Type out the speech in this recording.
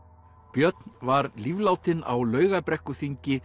björn var líflátinn á